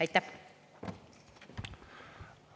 Aitäh!